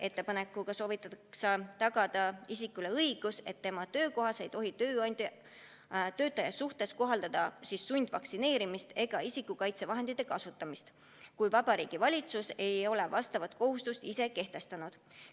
Ettepanekuga soovitatakse tagada isikule õigus, et tema töökohas ei tohi tööandja töötaja suhtes kohaldada sundvaktsineerimist ega isikukaitsevahendite kasutamist, kui Vabariigi Valitsus ei ole vastavat kohustust kehtestanud.